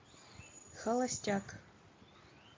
холостяк